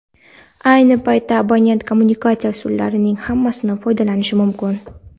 Ayni paytda abonent kommunikatsiya usullarining hammasidan foydalanishi mumkin.